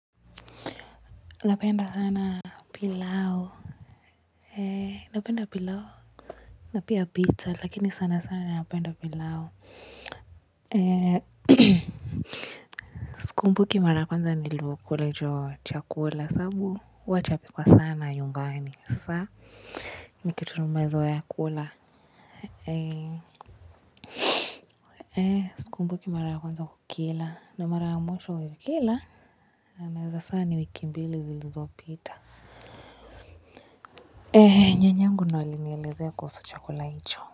Napenda sana pilau napenda pilau napia piza lakini sana sana napenda pilau sikumbuki mara ya kwanza nilivyokula hicho chakula kwa sababu huwa chapikwa sana nyumbani sasa ni kitu tumezoea kula. Sikumbuki mara ya kwanza kukila na mara mwisho kukila naweza sema ni wiki mbili zilizo pita. Nyanyangu ndio alinielezea kuhusu chakula hicho.